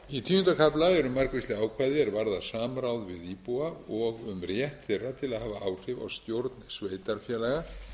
í tíunda kafla eru margvísleg ákvæði er varða samráð við íbúa og um rétt þeirra til að hafa áhrif á stjórn sveitarfélaga